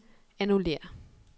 annullér